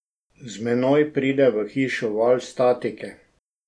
Z menoj pride v hišo val statike.